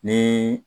Ni